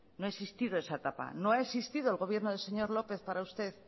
no ha existido esa etapa no ha existido el gobierno del señor lópez para usted